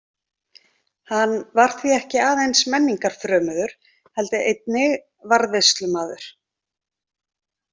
Hann var því ekki aðeins menningarfrömuður heldur einnig varðveislumaður.